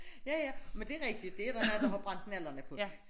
Ja ja men det er rigtigt det er der mange der har brændt nallerne på